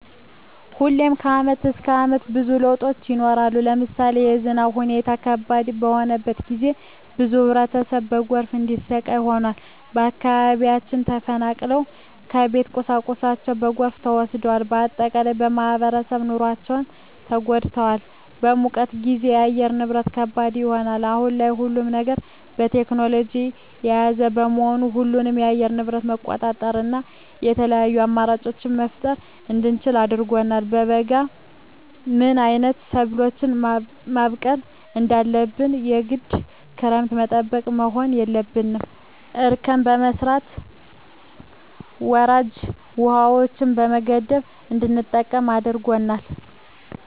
ሁሌም ከአመት እስከ አመት ብዙ ለውጦች ይኖራሉ። ለምሳሌ የዝናብ ሁኔታው ከባድ በሆነበት ጊዜ ብዙ ህብረተሰብ በጎርፍ እንዲሰቃይ ሆኗል። ከአካባቢያቸው ተፈናቅለዋል የቤት ቁሳቁሳቸው በጎርፍ ተወስዷል። በአጠቃላይ በማህበራዊ ኑሯቸው ተጎድተዋል። በሙቀት ጊዜም የአየር ንብረት ከባድ ይሆናል። አሁን ላይ ሁሉም ነገር ቴክኖሎጅን የያዘ በመሆኑ ሁሉንም የአየር ንብረት መቆጣጠር እና የተለያዪ አማራጮች መፍጠር እንድንችል አድርጎናል። በበጋ ምን አይነት ሰብሎችን ማብቀል እንዳለብን የግድ ክረምትን ጠብቀን መሆን የለበትም እርከን በመስራት ወራጅ ውሀዎችን በመገደብ እንድንጠቀም አድርጎናል።